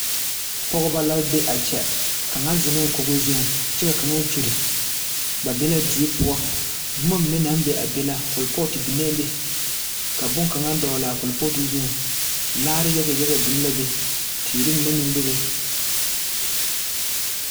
Pɔgeba la be a kyɛ kaŋa zeŋ la kogo zuŋ kyɛ ka kaŋa kyuri ba be la die poɔ boma mine naŋ be a be la korepooto biŋee be ka boŋkaŋa dogle a korepooto zuŋ laare yaga yaga biŋ la be teere mine meŋ be la be.